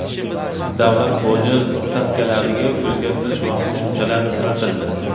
Davlat boji stavkalariga o‘zgartirish va qo‘shimchalar kiritildi.